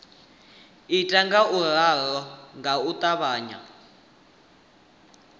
ita ngauralo nga u ṱavhanya